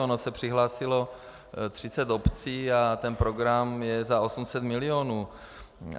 Ono se přihlásilo 30 obcí a ten program je za 800 milionů.